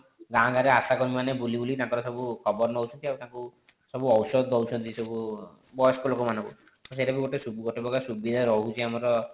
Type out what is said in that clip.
ଗାଁ ଗାଁ ରେ ଆଶା କର୍ମୀ ମାନେ ବୁଲୁ ବୁଲି ତାଙ୍କର ସବୁ ଖବର ନେଉଛନ୍ତି ଆଉ ତାଙ୍କୁ ସବୁ ଔଷଧ ଦୋଉଛନ୍ତି ସବୁ ବୟସ୍କ ଲୋକ ମାନଙ୍କୁ ତ ସେଇଟା ବି ଗୋଟେ ଗୋଟେ ପ୍ରକାର ସୁବିଧା ରହୁଛି ଆମର